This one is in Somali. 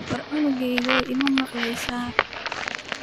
War cunugyahow ima maqleysa.